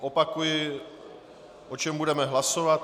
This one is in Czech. Opakuji, o čem budeme hlasovat.